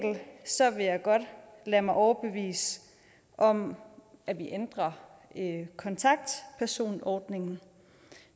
vil jeg godt lade mig overbevise om at ændre kontaktpersonordningen